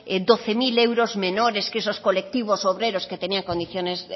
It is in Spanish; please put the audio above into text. doce mil euros menores que esos colectivos obreros que tenían condiciones